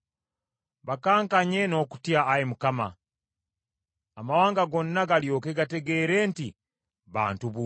Bakankanye n’okutya, Ayi Mukama ; amawanga gonna galyoke gategeere nti bantu buntu.